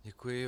Děkuji.